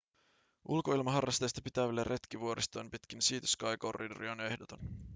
ulkoilmaharrasteista pitäville retki vuoristoon pitkin sea-to-sky corridoria on ehdoton